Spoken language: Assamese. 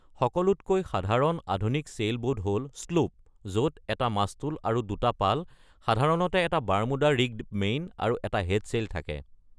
সকলোতকৈ সাধাৰণ আধুনিক ছেইলবোট হ 'ল স্লুপ, য’ত এটা মাস্তুল আৰু দুটা পাল, সাধাৰণতে এটা বাৰমুদা ৰিগ্ড মেইন আৰু এটা হেডছেইল থাকে।